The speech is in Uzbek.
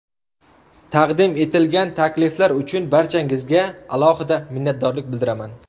Taqdim etilgan takliflar uchun barchangizga alohida minnatdorlik bildiraman.